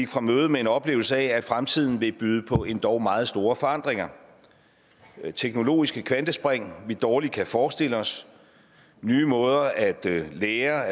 fra mødet med en oplevelse af at fremtiden vil byde på endog meget store forandringer med teknologiske kvantespring vi dårligt kan forestille os nye måder at lære